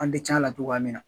An bɛ tiɲɛn a la togoya min na.